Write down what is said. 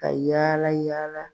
Ka yala yala.